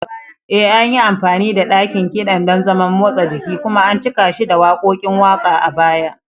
E, an yi amfani da ɗakin kiɗan don zaman motsa jiki kuma an cika shi da waƙoƙin waƙa a baya.